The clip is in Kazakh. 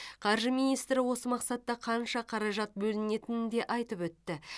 қаржы министрі осы мақсатта қанша қаражат бөлінетінін де айтып өтті